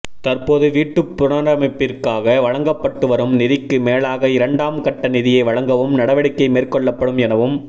தற்போது வீட்டுப்புனரமைப்பிற்காக வழங்கப்பட்டுவரும் நிதிக்கு மேலாக இரண்டாம் கட்ட நிதியை வழங்கவும் நடவடிக்கை மேற்கொள்ளப்படும் எனவும்